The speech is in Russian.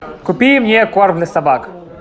купи мне корм для собак